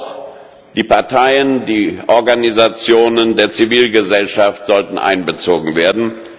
Aber auch die Parteien, die Organisationen der Zivilgesellschaft sollten einbezogen werden.